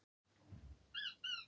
Margir ólöglegir spilaklúbbar